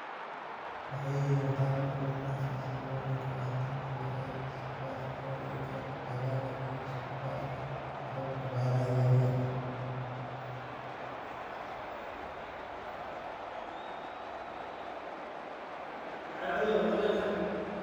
Maxay yihiin qaar ka miida ah farsomooyinka waxtarka leh ee isku dhafka wareegga dalagga iyo isku dhafka hababka beeraha yaryar.